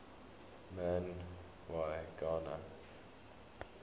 man y gana